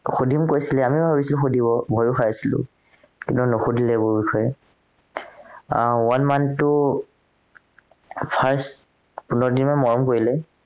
সুধিম কৈছিলে আমিও ভাবিছিলো সুধিব ভয়ও খাই আছিলো কিন্তু নোসোধিলে এইবোৰ বিষয়ে আহ one month টো first পোন্ধৰ দিনমান মৰম কৰিলে